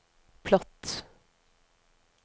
platt